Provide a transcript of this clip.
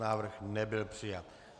Návrh nebyl přijat.